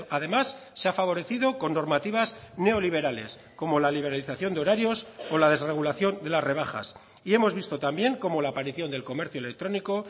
además se ha favorecido con normativas neoliberales como la liberalización de horarios o la desregulación de las rebajas y hemos visto también cómo la aparición del comercio electrónico